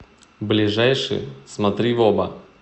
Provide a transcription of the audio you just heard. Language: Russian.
ближайший смотри в оба